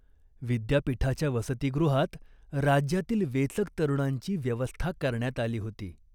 विद्यापीठाच्या वसतिगृहात राज्यातील वेचक तरुणांची व्यवस्था करण्यात आली होती.